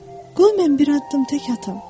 Qoy mən bir addım tək atım.